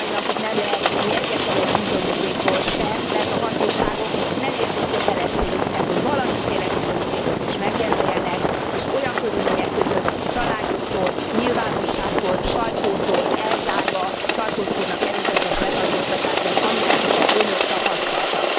Mind a mai napig nem lehet tudni egyetlenegy bizonyítékról sem, mert a hatóságok nem érzik kötelességüknek, hogy valamiféle bizonyítékot is megjelöljenek, és olyan körülmények között, családjuktól, nyilvánosságtól, sajtótól elzárva vannak előzetes letartóztatásban, amilyeneket Önök tapasztaltak.